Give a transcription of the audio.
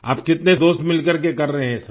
आप कितने दोस्त मिल करके कर रहें हैं ये सब